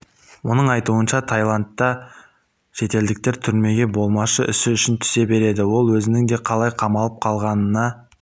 оның айтуынша тайландта шетелдіктер түрмеге болмашы ісі үшін түсе береді ол өзінің де қалай қамалып қалғанына